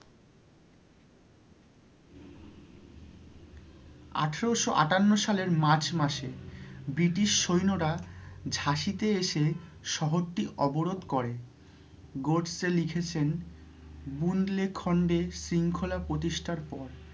আঠারোশো আটান্ন সালের March মাসে British সৈন্যরা ঝাঁসিতে এসে শহরটি অবরোধ করে গডসে লিখেছেন বুনধলে খন্ডের শৃঙ্খলা প্রতিষ্ঠার পর